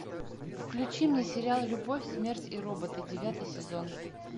включи мне сериал любовь смерть и роботы девятый сезон